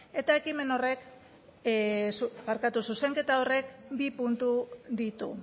eta ekimen horrek barkatu zuzenketa horrek bi puntu ditu